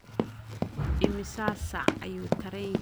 imisa saac ayuu tareenku ka yimaadaa san Diego ilaa waqooyiga hwood